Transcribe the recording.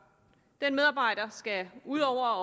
den medarbejder skal ud over